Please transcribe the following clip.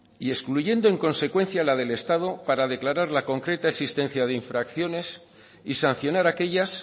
y excluyendo en consecuencia la del estado para declarar la concreta existencia de infracciones y sancionar aquellas